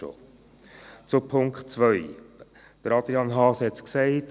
Zu Punkt 2: Adrian Haas hat es gesagt: